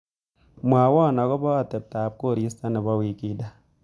Mwawa akobo ateptap korista nebo wikinda.